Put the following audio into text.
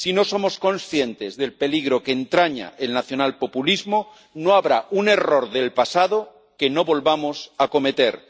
ser. Si no somos conscientes del peligro que entraña el nacionalpopulismo no habrá un error del pasado que no volvamos a cometer.